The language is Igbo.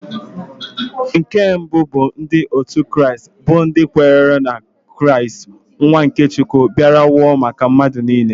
Nke mbụ bụ ndị otu Kraịst bụ ndị kwenyere na Kristi nwa nke Chukwu bịara nwụọ maka mmadụ niile.